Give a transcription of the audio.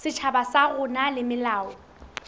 setjhaba sa rona le melao